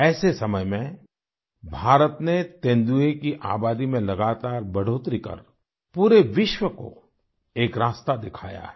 ऐसे समय में भारत ने तेंदुए की आबादी में लगातार बढ़ोतरी कर पूरे विश्व को एक रास्ता दिखाया है